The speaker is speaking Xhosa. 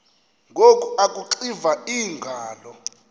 ngoku akuxiva iingalo